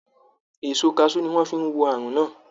Èso kaṣú ni wọ́n fi wo àrùn náà